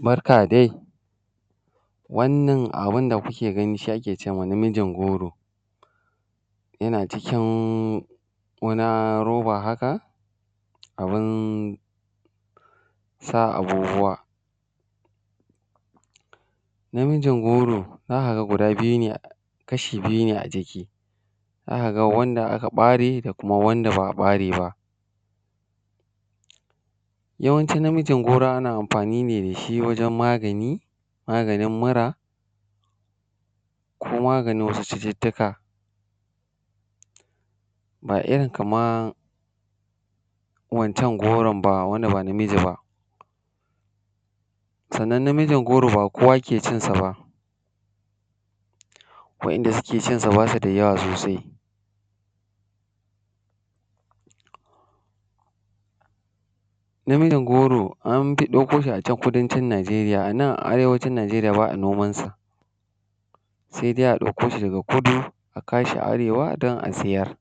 Barka dai, wannan abin da kuke gani, shi ake ce ma namijin goro, yana cikin wana roba haka, abin sa abubuwa. Namijin goro, za ka ga guda biyu ne; kashi biyu ne a jiki, za ka wanda aka ƃare da kuma wanda ba ƃare ba. Yawanci namijin goro ana amfani ne da shi wajen magani, maganin mira ko maganin wasu cututtuka ba irin kaman wancan goron ba; wand aba namiji ba. Sannan, namijin goro ba kowa ke cin sa ba, waɗanda suke cin sa, ba su da yawa sosai. Namijin goro, an fi ɗakko shi a can Kudancin Najeriya, a nan a Arewacin Najeriya ba a noman sa, se de a ɗakko shi daga Kudu, a kawo shi Arewa don a siyar.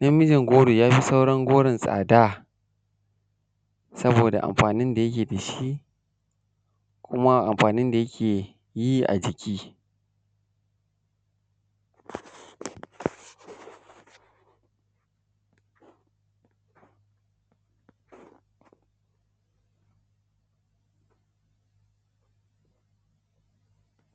Namijin goro, ya fi sauran goron tsada, saboda amfanin da yake da shi, kuma amfanin da yake yi a jiki.